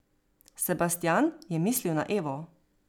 Sebastijan je mislil na Evo.